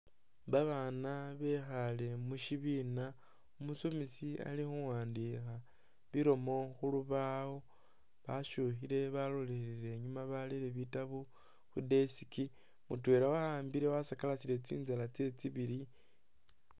Babaana bekhaale mu shibiina, umusomesi ali khuwandiikha bilomo khu lubaawo, basyukhile balolelele inyuuma barele bitabu khu desk, mutwela wa'ambile wasakalasile tsinzala tsyewe tsibili.